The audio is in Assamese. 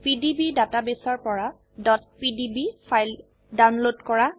পিডিবি ডাটাবেসৰ পৰা pdb ফাইল ডাউনলোড কৰা